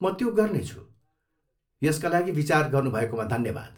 म त्यो गर्नेछु, यसका लागि विचार गर्नुभएकोमा धन्यवाद!